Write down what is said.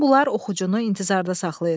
Bütün bunlar oxucunu intizarda saxlayır.